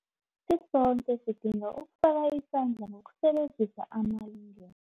Sisoke sidinga ukufaka isandla ngokusebenzisa amalungelo